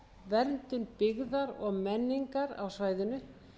verndun byggðar og menningar á svæðinu